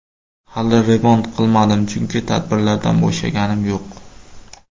Hali remont qilmadim, chunki tadbirlardan bo‘shaganim yo‘q.